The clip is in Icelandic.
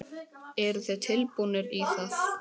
Eruð þið tilbúnir í það?